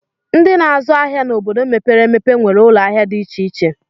Ndị na-azụ ahịa n'obodo mepere emepe nwere ụlọahịa dị iche iche